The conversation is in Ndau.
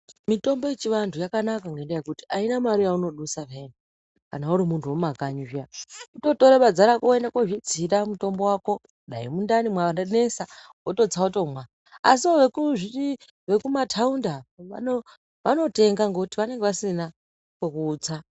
Mitombo yechiantu yakanaka ngenyaya yekuti auna mari yaunodusa peya kana uri muntu wemumakanyi zviya kutotore badza rako woende kozvitsira mutombo wako dai mundani mwanesa wototsa wotomwa asi vekumataundi ava vanotenga ngekuti vanenge vasina kwekutsa.